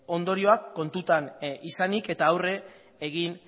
ondorioak kontutan izanik eta aurre egin